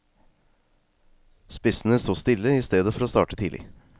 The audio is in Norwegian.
Spissene stod stille i stedet for å starte tidlig.